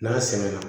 N'a sɛgɛnna